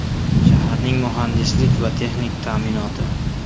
Shaharning muhandislik va texnik ta’minoti.